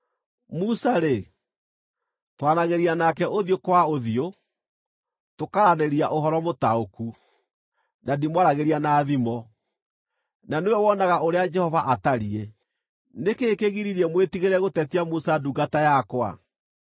Musa-rĩ, twaranagĩria nake ũthiũ kwa ũthiũ, tũkaaranĩria ũhoro mũtaũku, na ndimwaragĩria na thimo; na nĩwe wonaga ũrĩa Jehova atariĩ. Nĩ kĩĩ kĩgiririe mwĩtigĩre gũtetia Musa ndungata yakwa?”